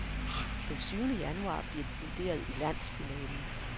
Den syvende januar bliver de vurderet i landsfinalen.